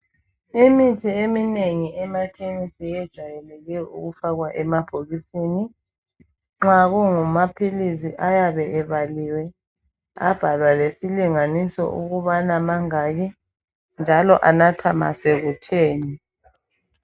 Imithi eminengi emakhemisi ijwayele ukufakwa emabhokiseni. Nxa kungamaphilisi ayabe ebaliwe abhalwa lesilinganiso ukuthi mangaki njalo anathwa sokutheni.